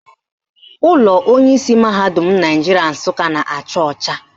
Ụlọ onyeisi mahadum Naijiria Nsụka na-acha ọcha